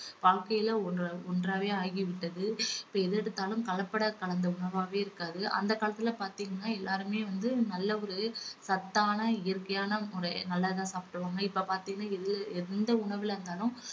வாழ்க்கையில ஒன்~ ஒன்றாவே ஆகிவிட்டது. இப்ப எது எடுத்தாலும் கலப்படம் கலந்த உணவாவே இருக்கிறது அந்த காலத்துல பாத்தீங்கன்னா எல்லாருமே வந்து நல்ல ஒரு சத்தான இயற்கையான முறை நல்லா தான் சாப்பிடுவாங்க. இப்ப பாத்தீங்கன்னா எ~ எந்த உணவுல இருந்தாலும்